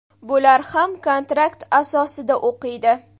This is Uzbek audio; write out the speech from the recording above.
Bular ham kontrakt asosida o‘qiydi.